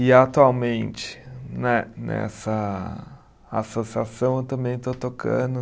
E atualmente, ne nessa associação, eu também estou tocando.